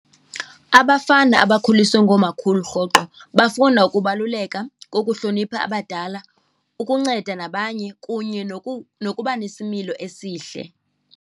Abafana abakhuliswe ngoomakhulu rhoqo babona ukubaluleka kokuhlonipha abadala, ukunceda nabanye kunye nokuba nesimilo esihle.